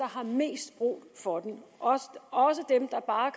har mest brug for den også dem der bare